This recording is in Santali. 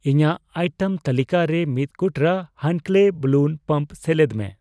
ᱤᱧᱟᱜ ᱟᱭᱴᱮᱢ ᱛᱟᱹᱞᱤᱠᱟ ᱨᱮ ᱢᱤᱛ ᱠᱩᱴᱨᱟᱹ ᱦᱟᱱᱠᱞᱮᱭ ᱵᱟᱞᱞᱩᱱ ᱯᱟᱢᱯ ᱥᱮᱞᱮᱫ ᱢᱮ᱾